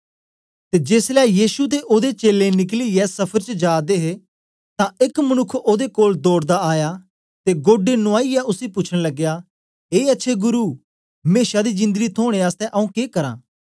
ते जेसलै यीशु ते ओदे चेलें निकलियै सफर च जा दे हे तां एक मनुक्ख ओदे कोल दौड़दा आया ते गोढे नुवाईयै उसी पूछन लगया ए अच्छे गुरु मेशा दी जिंदड़ी थोने आसतै आऊँ के करां